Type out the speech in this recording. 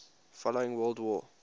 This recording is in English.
following world war